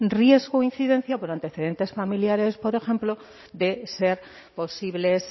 riesgo e incidencia por antecedentes familiares por ejemplo de ser posibles